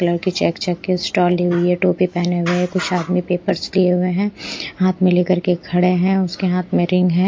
Colour की check check के stole ली हुई है टोपी पहने हुए हैं कुछ आदमी पेपर्स लिए हुए हैं हाथ में लेकर के खड़े हैं उसके हाथ में रिंग है।